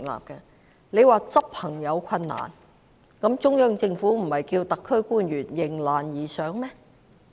局長說在執行方面有困難，但中央政府不是叫特區官員迎難而上嗎？